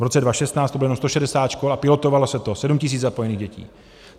V roce 2016 to bylo jenom 160 škol a pilotovalo se to, sedm tisíc zapojených dětí.